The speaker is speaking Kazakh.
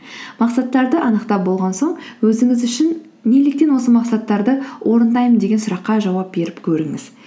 мақсаттарды анықтап болған соң өзіңіз үшін неліктен осы мақсаттарды орындаймын деген сұраққа жауап беріп көріңіз